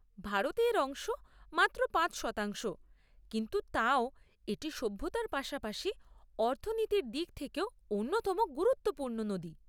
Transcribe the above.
ভারতে এর অংশ মাত্র পাঁচ শতাংশ, কিন্তু তাও এটি সভ্যতার পাশাপাশি অর্থনীতির দিক থেকেও অন্যতম গুরুত্বপূর্ণ নদী।